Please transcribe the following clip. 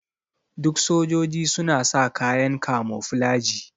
Duk sojoji suna sa kayan kamoflaji.